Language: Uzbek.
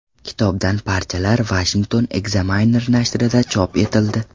Kitobdan parchalar Washington Examiner nashrida chop etildi.